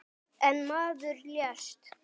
Einn maður lést.